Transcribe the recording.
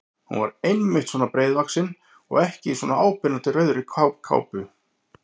Hún var einmitt svona breiðvaxin og í svona áberandi rauðri kápu!